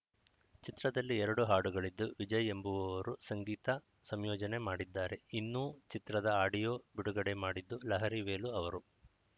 ಚಿತ್ರದಲ್ಲಿ ಎರಡು ಹಾಡುಗಳಿದ್ದು ವಿಜಯ್‌ ಎಂಬುವವರು ಸಂಗೀತ ಸಂಯೋಜನೆ ಮಾಡಿದ್ದಾರೆ ಇನ್ನೂ ಚಿತ್ರದ ಆಡಿಯೋ ಬಿಡುಗಡೆ ಮಾಡಿದ್ದು ಲಹರಿ ವೇಲು ಅವರು